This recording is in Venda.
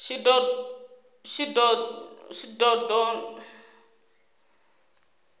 shidondho